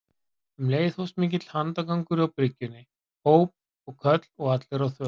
Um leið hófst mikill handagangur á bryggjunni, óp og köll og allir á þönum.